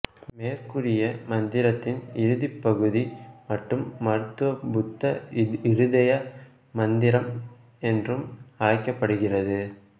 மேற்கூறிய மந்திரத்தின் இறுதிப் பகுதி மட்டும் மருத்துவ புத்த இருதய மந்திரம் என்று அழைக்கப்படுகிறது